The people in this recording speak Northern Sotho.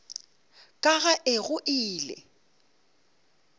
ka ga e go ile